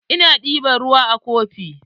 Ina ɗeban ruwa a kofi.